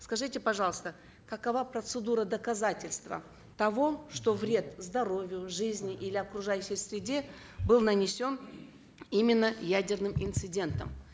скажите пожалуйста какова процедура доказательства того что вред здоровью жизни или окружающей среде был нанесен именно ядерным инцидентом